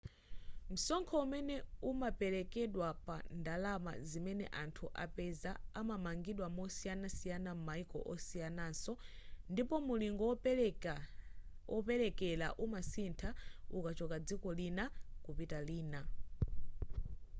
msonkho umene umaperekedwa pa ndalama zimene anthu apeza umapangidwa mosiyanasiyana m'maiko osiyanaso ndipo mulingo woperekera umasintha ukachoka dziko lina kupita lina